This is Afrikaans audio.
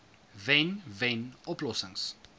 wen wen oplossings